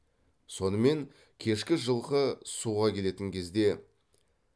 сонымен кешкі жылқы суға келетін кезде